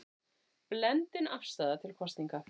Blendin afstaða til kosninga